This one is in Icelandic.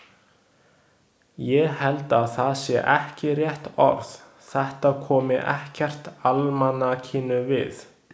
Ég held að það sé ekki rétt orð, þetta komi ekkert almanakinu við.